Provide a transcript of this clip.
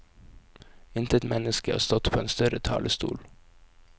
Intet menneske har stått på en større talestol.